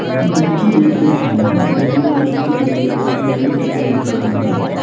இது வந்துட்டு ஒரு பில்டிங்கு அந்த பில்டிங்க சுத்தி நெறைய லைட் எல்லாம் போட்டு இருக்காங்க.